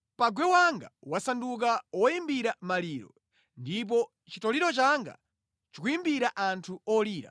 Pangwe wanga wasanduka woyimbira maliro, ndipo chitoliro changa chikuyimbira anthu olira.